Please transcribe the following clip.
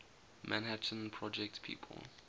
manhattan project people